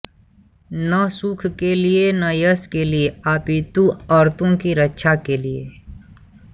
न सुख के लिए न यश के लिए अपितु आर्तों की रक्षा के लिए